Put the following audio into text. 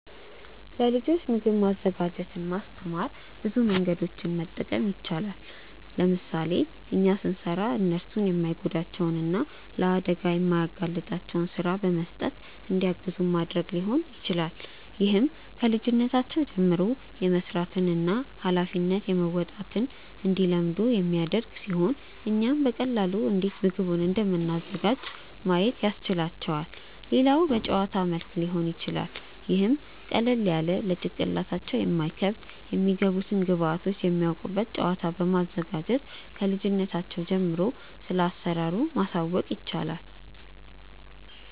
ለልጆች ምግብ ማዘጋጀትን ለማስተማር ብዙ መንገዶችን መጠቀም ይቻላል። ለምሳሌ እኛ ስንሰራ እነርሱን የማይጎዳቸውን እና ለአደጋ የማያጋልጣቸውን ስራ በመስጠት እንዲያግዙን ማድረግ ሊሆን ይችላል። ይህም ከልጅነታቸው ጀምሮ የመስራትን እና ሃላፊነት መወጣትን እንዲለምዱ የሚያደርግ ሲሆን እኛም በቀላሉ እንዴት ምግቡን እንደምናዘጋጅ ማየት ያስችላቸዋል። ሌላው በጨዋታ መልክ ሊሆን ይችላል ይህም ቀለል ያለ ለጭንቅላታቸው የማይከብድ የሚገቡትን ግብዐቶች የሚያውቁበት ጨዋታ በማዘጋጀት ክልጅነታቸው ጀምሮ ስለአሰራሩ ማሳወቅ ይቻላል።